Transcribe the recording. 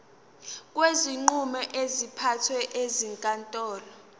kwezinqumo ezithathwe ezinkantolo